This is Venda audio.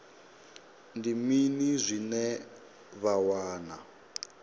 ndi mini zwine vha wana